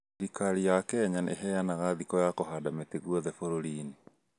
Thirikari ya kenya nĩ ĩbanaga thikũ ya kũhanda mĩtĩ guothe bũrũri inĩ